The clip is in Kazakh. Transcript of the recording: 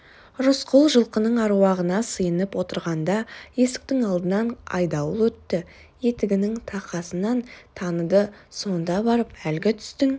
рысқұл жылқының аруағына сыйынып отырғанда есіктің алдынан айдауыл өтті етігінің тақасынан таныды сонда барып әлгі түстің